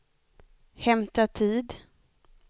hämta tid